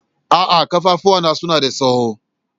A'a, kafafua na suna da tsawo.